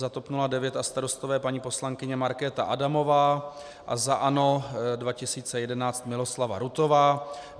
Za TOP 09 a Starostové paní poslankyně Markéta Adamová a za ANO 2011 Miloslava Rutová.